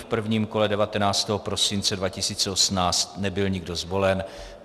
V prvním kole 19. prosince 2018 nebyl nikdo zvolen.